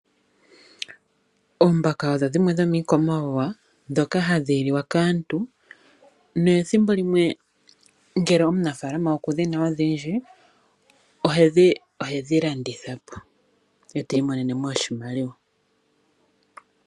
Oombanga odho dhimwe dho miikwamawa ndhoka ha dhi liwa kaantu, nethimbo limwe ngele omunafaalama oku dhina odhindji ohedhi landithapo e ti imonemo oshimaliwa.